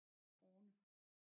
Orne